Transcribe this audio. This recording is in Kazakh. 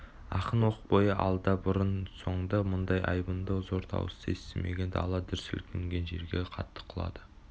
ақын оқ бойы алда бұрын-соңды мұндай айбынды зор дауысты естімеген дала дүр сілкінген жерге қатты құлады